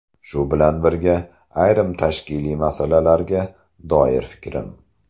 Shu bilan birga, ayrim tashkiliy masalalarga doir fikrim.